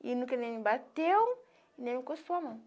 E nunca nem bateu, nem encostou a mão.